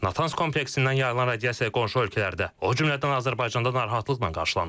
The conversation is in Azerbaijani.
Natanz kompleksindən yayılan radiasiya qonşu ölkələrdə, o cümlədən Azərbaycanda narahatlıqla qarşılanıb.